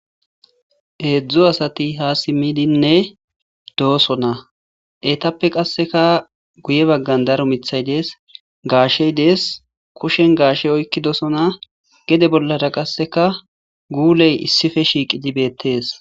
heedzdzo asati ha simmidinne doosona etappe qasseka guye baggan daro mithay dees gaashey dees kushen gaashey oykkidosona gede bollara qasseka guuley issife shiiqi jibettees